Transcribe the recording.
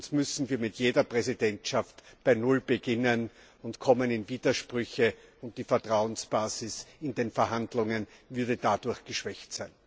Sonst müssen wir mit jeder Präsidentschaft bei Null beginnen und kommen in Widersprüche, und die Vertrauensbasis in den Verhandlungen wäre dadurch geschwächt.